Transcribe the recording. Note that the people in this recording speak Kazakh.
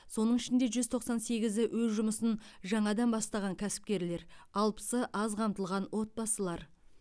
соның ішінде жүз тоқсан сегізі өз жұмысын жаңадан бастаған кәсіпкерлер алпысы аз қамтылған отбасылар